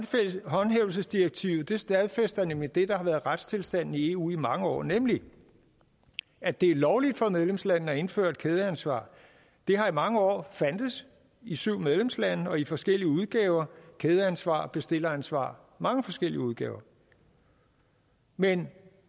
håndhævelsesdirektivet stadfæster nemlig det der har være retstilstanden i eu i mange år nemlig at det er lovligt for medlemslandene at indføre et kædeansvar det har i mange år fandtes i syv medlemslande og i forskellige udgaver kædeansvar bestilleransvar mange forskellige udgaver men